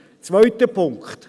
Zweiter Punkt.